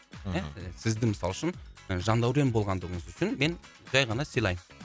сізді мысалы үшін жандәурен болғандығыңыз үшін мен жай ғана сыйлаймын